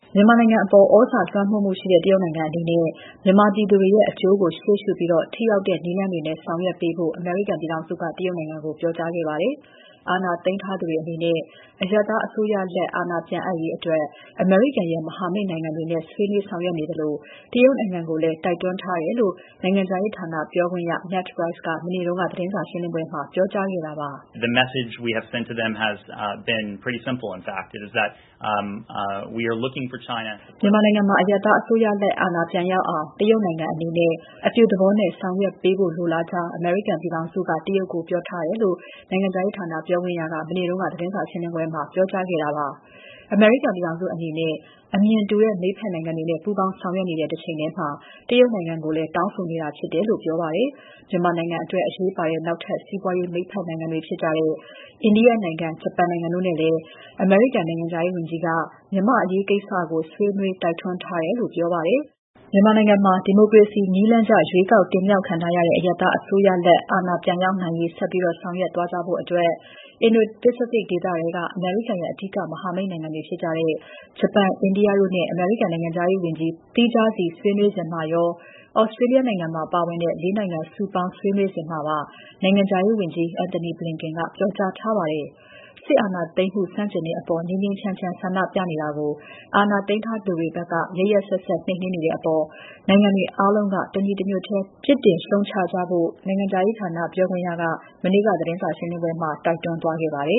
မြန်မာနိုင်ငံအပေါ် သြဇာလွှမ်းမိုးမှုရှိတဲ့ တရုတ်နိုင်ငံအနေနဲ့ မြန်မာပြည်သူတွေရဲ့ အကျိုးကို ရှေ့ရှုပြီး ထိရောက်တဲ့ နည်းလမ်းတွေနဲ့ ဆောင်ရွက်ပေးဖို့ အမေရိကန်ပြည်ထောင်စုက တရုတ်နိုင်ငံကို ပြောကြားခဲ့ပါတယ်။ အာဏာသိမ်းထားသူတွေအနေနဲ့ အရပ်သားအစိုးရလက်ပြန်အပ်ရေးအတွက် အမေရိကန်ရဲ့ မဟာမိတ်နိုင်ငံတွေနဲ့ ဆွေးနွေးဆောင်ရွက်နေသလို တရုတ်နိုင်ငံကိုလည်း တိုက်တွန်းထားတယ်လို့ နိုင်ငံခြားရေးဌာနပြောခွင့်ရ Ned Price က မနေ့က သတင်းစာရှင်းပွဲမှာ ပြောကြားခဲ့တာပါ။ "မြန်မာနိုင်ငံမှာ အရပ်သားအစိုးရလက် အာဏာပြန်ရောက်အောင် တရုတ်နိုင်ငံအနေနဲ့ အပြုသဘောနဲ့ ဆောင်ရွက်ပေးဖို့ လိုလားကြောင်း အမေရိကန်ပြည်ထောင်စုက တရုတ်ကို ပြောထားတယ်။" လို့ နိုင်ငံခြားရေးဌာနပြောခွင့်ရက မနေ့က သတင်းစာရှင်းပွဲမှာ ပြောကြားခဲ့တာပါ။ အမေရိကန်ပြည်ထောင်စုအနေနဲ့ အမြင်တူတဲ့ မိတ်ဖက်နိုင်ငံတွေနဲ့ ပူးပေါင်းဆောင်ရွက်နေတဲ့ တချိန်ထဲမှာ တရုတ်နိုင်ငံကိုလည်း တောင်းဆိုနေတာဖြစ်တယ်လို့ ပြောပါတယ်။ မြန်မာနိုင်ငံအတွက် အရေးပါတဲ့ နောက်ထပ် စီးပွားရေးမိတ်ဖက်နိုင်ငံတွေဖြစ်တဲ့ အိန္ဒိယနိုင်ငံ၊ ဂျပန်နိုင်ငံတို့နဲ့လည်း အမေရိကန် နိုင်ငံခြားရေးဝန်ကြီးက မြန်မာ့အရေးကိစ္စကို ဆွေးနွေး တိုက်တွန်းထားတယ်လို့ ပြောပါတယ်။ မြန်မာနိုင်ငံမှာ ဒီမိုကရေစီနည်းလမ်းကျ ရွေးကောက်တင်မြှောက်ခံထားရတဲ့ အရပ်သားအစိုးရ အာဏာပြန် ရောက်နိုင်ရေး ဆက်ပြီးဆောင်ရွက်သွားကြဖို့အတွက် Indo-Pacific ဒေသထဲက အမေရိကန်ရဲ့ အဓိက မဟာမိတ်တွေဖြစ်ကြတဲ့ ဂျပန်၊ အိန္ဒိယတို့နဲ့ အမေရိကန် နိုင်ငံခြားရေးဝန်ကြီး သီးခြားစီဆွေးနွေးစဉ်မှာရော၊ Australia နိုင်ငံပါ ပါဝင်တဲ့ ၄ နိုင်ငံစုပေါင်း ဆွေးနွေးစဉ်မှာပါ နိုင်ငံခြားရေးဝန်ကြီး Antony Blinken ကပြောကြားထားပါတယ်။ စစ်အာဏာသိမ်းမှု ဆန့်ကျင်တဲ့အပေါ် ငြိမ်းငြိမ်းချမ်းချမ်းဆန္ဒပြနေတာကို အာဏာသိမ်းထားသူတွေဘက်က ရက်ရက်စက်စက် နှိမ်နင်းနေတဲ့အပေါ် နိုင်ငံတွေအားလုံးက တညီတညွတ်ထဲ ပြစ်တင် ရှုတ်ချကြဖို့ နိုင်ငံခြားရေးဌာနပြောခွင့်ရက မနေ့က သတင်းစာရှင်းပွဲမှာ တိုက်တွန်းသွားခဲ့ပါတယ